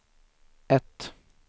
ett